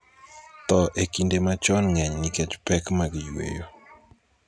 tho ekinde machon ng'eny nikech pek mag yweyo